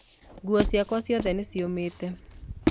Nguo ciakwa ciothe nĩ ciũmĩte.